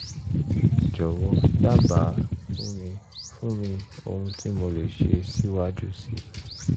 jọ̀wọ́ dábàá fún mi fún mi ohun tí mo lè ṣe síwájú sí i